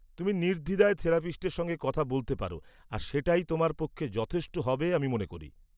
-তুমি নির্দ্বিধায় থেরাপিস্টের সঙ্গে কথা বলতে পার আর সেটাই তোমার পক্ষে যথেষ্ট হবে আমি মনে করি।